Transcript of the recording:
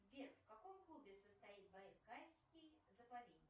сбер в каком клубе состоит байкальский заповедник